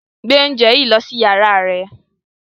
Gbe oúnjẹ yìí lọ sí yàrá rẹ̀